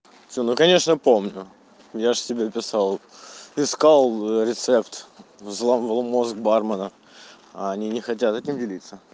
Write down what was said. ну конечно помню я же тебе писал искал рецепт взламывал мозг бармена а они не хотят этим делиться